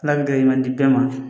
Ala ka garijigɛ di bɛɛ ma